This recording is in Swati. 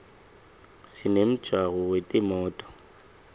sinemjako wetimoto